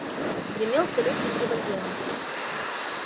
гремел салют из револьвера